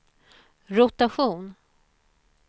rotation